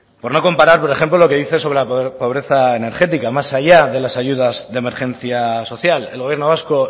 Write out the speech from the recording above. por no comparar por ejemplo lo que dice sobre la pobreza energética más allá de las ayuda de emergencia social el gobierno vasco